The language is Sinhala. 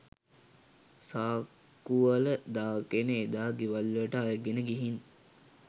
සාක්‌කුවල දාගෙන එදා ගෙවල්වලට අරගෙන ගිහින්